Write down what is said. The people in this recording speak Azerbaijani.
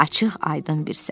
Açıq, aydın bir səhər.